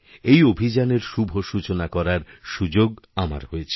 এই অভিযানের শুভসূচনা করার সুযোগ আমার হয়েছিল